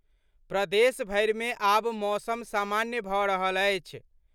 प्रदेशभरि मे आब मौसम सामान्य भऽ रहल अछि।